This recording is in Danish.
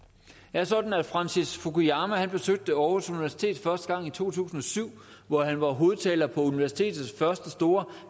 er sådan at francis fukuyama besøgte aarhus universitet første gang i to tusind og syv hvor han var hovedtaler på universitetets første store